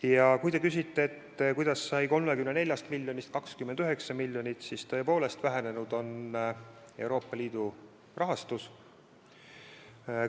Ja kui te küsite, miks sai 34 miljonist 29 miljonit, siis sellepärast, et Euroopa Liidu rahastus on vähenenud.